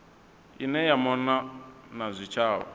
ine ya mona na zwitshavha